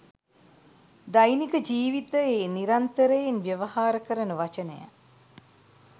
දෛනික ජීවිතයේ නිරන්තරයෙන් ව්‍යවහාර කරන වචනය.